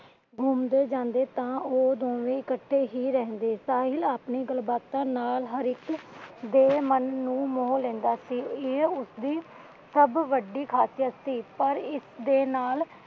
ਘੁੰਮਦੇ ਜਾਂਦੇ ਤਾਂ ਉਹ ਦੋਵੇ ਇੱਕਠੇ ਹੀ ਰਹਿੰਦੇ । ਸਾਹਿਲ ਆਪਣੀ ਗਲਬਾਤਾਂ ਨਾਲ ਹਰ ਇਕ ਦੇ ਮਨ ਨੂੰ ਮੋਹ ਲੈਂਦਾ ਸੀ। ਇਹ ਉਸਦੀ ਸਭ ਵੱਡੀ ਖਾਸੀਅਤ ਸੀ। ਪਰ ਇਸਦੇ ਨਾਲ